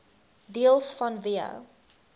deels vanweë